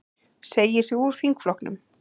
Segir sig úr þingflokknum